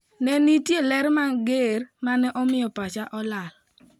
"Ne nitie ler mager mane omiyo pacha olal.